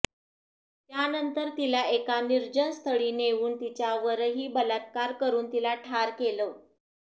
त्यानंतर तिला एका निर्जन स्थळी नेऊन तिच्यावरही बलात्कार करून तिला ठार केलं